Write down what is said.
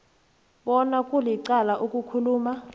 bona kulicala ukukhuluma